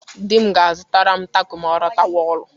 Di m ga-azụtara m tako ma ọ lọtawa ọrụ.